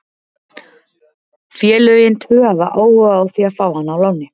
Félögin tvö hafa áhuga á því að fá hann á láni.